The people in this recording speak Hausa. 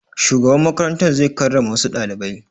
Shugaban makarantar zai karrama wassu ɗalibai